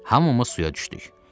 Hamımız suya düşdük.